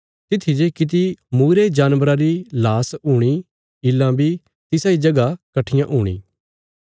तित्थी जे किति मूईरे जानबरा री लाश हूणी ईल्लां बी तिसा इ जगह कट्ठियां हूणी